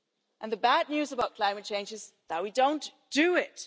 and the bad news about climate change is that we don't do it.